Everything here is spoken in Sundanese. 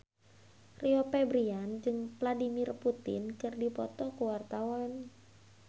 Rio Febrian jeung Vladimir Putin keur dipoto ku wartawan